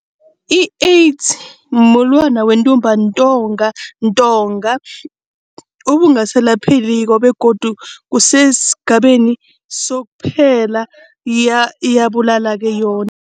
I-AIDS mumulwana wentumbantonga obungasalaphekiko begodu kusesigabeni sokuphela, iyabulala-ke yona.